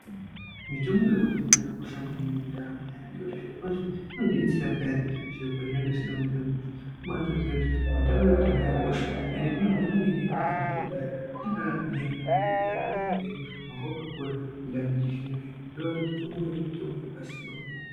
Mitombo yekudhaya yakakosha maningi mundaramo yaantu ngekuti zvirokwazvo inodetsera peyani zviro pazvinenge zvisina kumira kwazvo. Kubatoziya kuti mutombo yekudhaya yakakosha ende tinoba atozviona ngekuti anga akagwingya maningi airarama upenyu hwanga wakakura kupinda antu echizvino zvino. Zvinoreva kuti mutombo iyi yanga yakagwinya maningi .